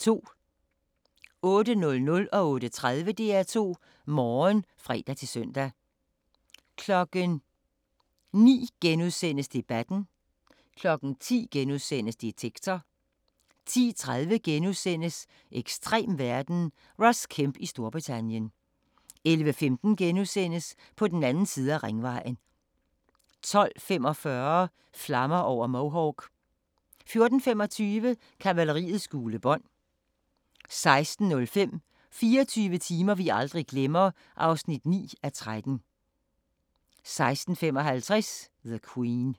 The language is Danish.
08:00: DR2 Morgen (fre-søn) 08:30: DR2 Morgen (fre-søn) 09:00: Debatten * 10:00: Detektor * 10:30: Ekstrem verden – Ross Kemp i Storbritannien * 11:15: På den anden side af ringvejen * 12:45: Flammer over Mohawk 14:25: Kavaleriets gule bånd 16:05: 24 timer vi aldrig glemmer (9:13) 16:55: The Queen